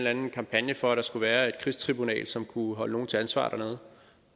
anden kampagne for at der skulle være et krigstribunal som kunne holde nogle til ansvar dernede